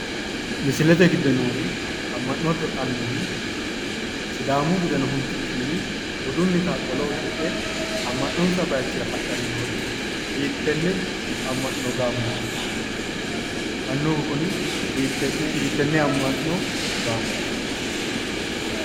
Mislete giddo noori amma'note annuwi sidaamu budeno huntukinni budunnita qolo uddidhe amma'nonsa baayiichira hadhanni noori hiittenne amma'no gaamooti? annuwu kuri hiittenne amma'no gaamooti?